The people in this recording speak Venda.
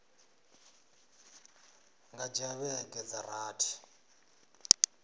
nga dzhia vhege dza rathi